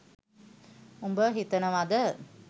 උඹ හිතනවද